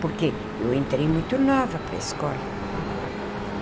Porque eu entrei muito nova para a escola.